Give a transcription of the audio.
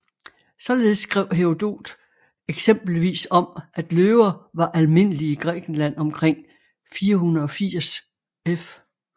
Således skrev Herodot eksempelvis om at løver var almindelige i Grækenland omkring 480 f